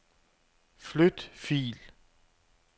Flyt fil.